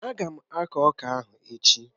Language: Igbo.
Ága m aku ọka ahụ echi